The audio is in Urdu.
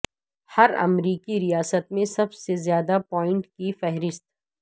ہر امریکی ریاست میں سب سے زیادہ پوائنٹ کی فہرست